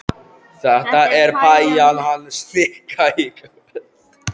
Þetta er pæjan hans Nikka í kvöld.